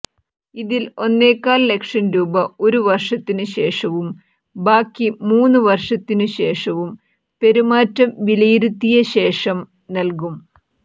ഇതിൽ ഒന്നേകാൽ ലക്ഷം രൂപ ഒരു വർഷത്തിനുശേഷവും ബാക്കി മൂന്നുവർഷത്തിനുശേഷവും പെരുമാറ്റം വിലയിരുത്തിയശേഷം നൽകും